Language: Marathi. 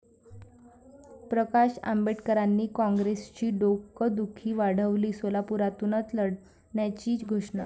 प्रकाश आंबेडकरांनी काँग्रेसची डोकदुखी वाढवली, सोलापुरातूनच लढण्याची घोषणा